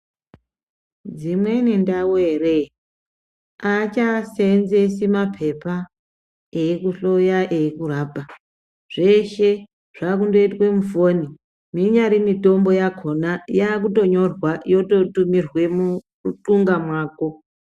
Dzimweni ndau ere aachaseenzesi mapepa eikuhloya eikurapa zveshe zvakundoitwe mufoni inyari mitombo yakona yakutonyorwa yototumirwe mumunxunga mwako.